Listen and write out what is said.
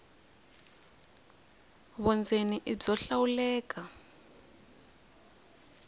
vundzeni i byo hlawuleka